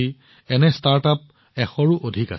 বৰ্তমান সময়ত তেওঁলোকৰ সংখ্যা এশতকৈও অধিক